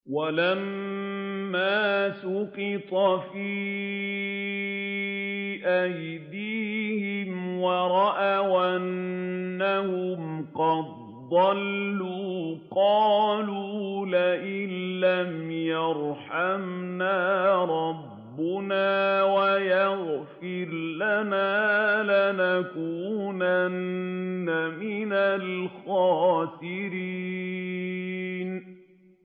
وَلَمَّا سُقِطَ فِي أَيْدِيهِمْ وَرَأَوْا أَنَّهُمْ قَدْ ضَلُّوا قَالُوا لَئِن لَّمْ يَرْحَمْنَا رَبُّنَا وَيَغْفِرْ لَنَا لَنَكُونَنَّ مِنَ الْخَاسِرِينَ